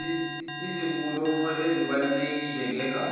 izinkulumo ezibalulekile negatsha